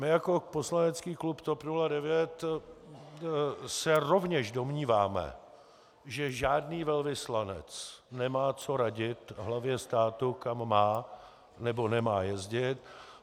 My jako poslanecký klub TOP 09 se rovněž domníváme že žádný velvyslanec nemá co radit hlavě státu, kam má nebo nemá jezdit.